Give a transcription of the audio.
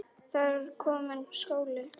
Það er kominn skóli.